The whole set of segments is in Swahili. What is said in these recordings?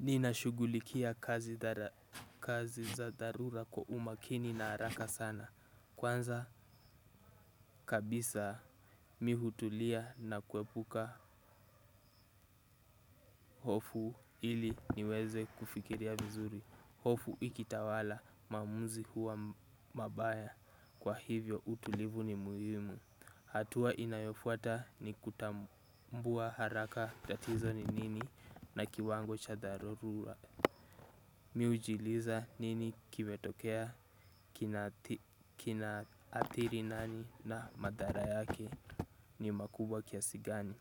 Ninashughulikia kazi za dharura kwa umakini na haraka sana. Kwanza kabisa mi hutulia na kuepuka hofu ili niweze kufikiria vizuri. Hofu ikitawala maamuzi huwa mabaya kwa hivyo utulivu ni muhimu. Hatua inayofuata ni kutambua haraka tatizo ni nini na kiwango cha dharurura. Mi hujiuliza nini kime tokea kina athiri nani na madhara yake ni makubwa kiasi gani.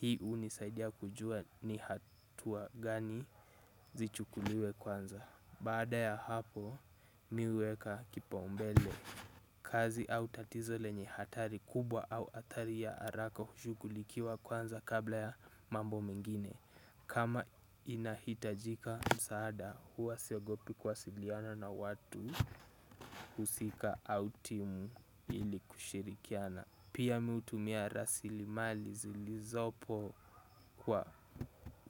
Hii hunisaidia kujua ni hatua gani zichukuliwe kwanza. Bada ya hapo mi huweka kipaembele. Kazi au tatizo lenye hatari kubwa au hatari ya haraka hushughulikiwa kwanza kabla ya mambo mengine. Kama inahitajika msaada huwa siogopi kuwasiliana na watu husika au timu ili kushirikiana. Pia mi hutumia rasili mali zilizopo kwa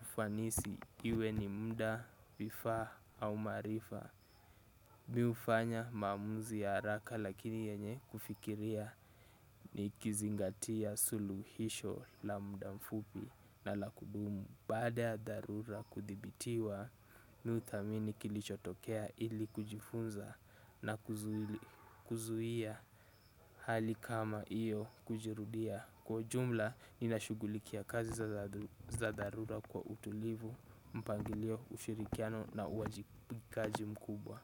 ufanisi iwe ni mda, vifaa au marifa. Mi hufanya maamuzi ya haraka lakini yenye kufikiria nikizingatia suluhisho la muda mfupi na la kudumu. Bada darura kuthibitiwa mi uthamini kilichotokea ili kujifunza na kuzuia hali kama hiyo kujirudia. Kwa ujumla ninashughulikia kazi za dharura kwa utulivu mpangilio ushirikiano na uwajibikaji mkubwa.